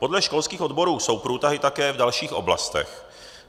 Podle školských odborů jsou průtahy také v dalších oblastech.